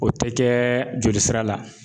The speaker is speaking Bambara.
O tɛ kɛ joli sira la